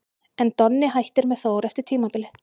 En Donni hættir með Þór eftir tímabilið.